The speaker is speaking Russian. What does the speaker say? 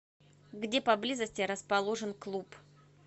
где поблизости расположен клуб